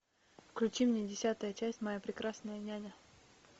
включи мне десятая часть моя прекрасная няня